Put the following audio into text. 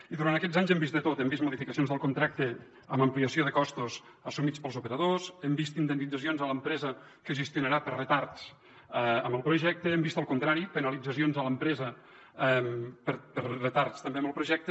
i durant aquests anys hem vist de tot hem vist modificacions del contracte amb ampliació de costos assumits pels operadors hem vist indemnitzacions a l’empresa que gestionarà per retards en el projecte hem vist el contrari penalitzacions a l’empresa per retards també en el projecte